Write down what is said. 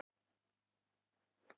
Haukur: Á réttan stað?